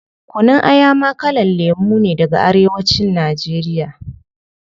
Kunun Aya ma kalan lemu ne daga arewa cin nigeria